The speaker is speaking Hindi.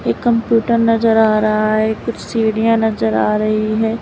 कंप्यूटर नजर आ रहा है कुछ सीढ़ियां नजर आ रही हैं।